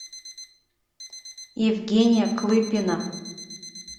евгения клыпина